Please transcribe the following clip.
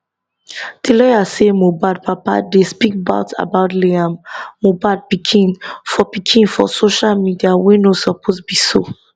di lawyer say mohbad papa dey speak bad about liam mohbad pikin for pikin for social media wey no suppose be so